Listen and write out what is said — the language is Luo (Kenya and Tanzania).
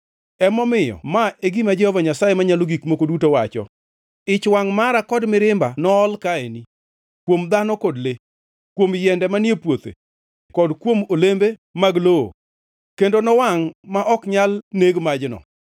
“ ‘Emomiyo ma e gima Jehova Nyasaye Manyalo Gik Moko Duto wacho: Ich wangʼ mara kod mirimba nool kaeni, kuom dhano kod le, kuom yiende manie puothe kod kuom olembe mag lowo, kendo nowangʼ ma ok nyal neg majno.